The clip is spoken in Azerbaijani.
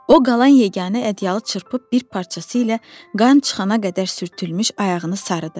O qalan yeganə ədyalı çırpıb bir parçası ilə qan çıxana qədər sürtülmüş ayağını sarıdı.